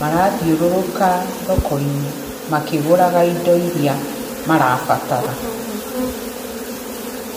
marathiũrũrũka thoko-inĩ makĩgũraga indo iria marabatara.